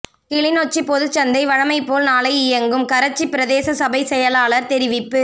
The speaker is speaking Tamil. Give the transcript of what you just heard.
கிளிநொச்சி பொதுச்சந்தை வழமைபோல் நாளை இயங்கும் கரச்சி பிரதேச சபைச் செயலாளர் தெரிவிப்பு